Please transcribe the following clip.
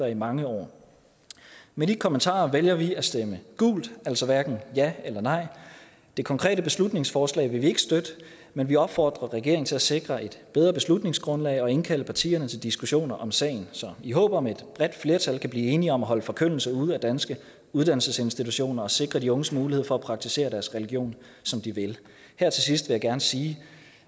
i mange år med de kommentarer vælger vi at stemme gult altså hverken ja eller nej det konkrete beslutningsforslag vil vi ikke støtte men vi opfordrer regeringen til at sikre et bedre beslutningsgrundlag og indkalde partierne til diskussioner om sagen i håbet om at et bredt flertal kan blive enige om at holde forkyndelse ude af danske uddannelsesinstitutioner og sikre de unges mulighed for at praktisere deres religion som de vil her til sidst vil jeg gerne sige